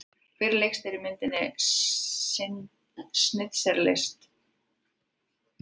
Hver leikstýrði kvikmyndinni Schindlers List?